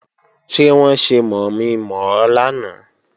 Ṣé wọ́n ṣe mọ̀mi-mọ̀ ọ lánàá?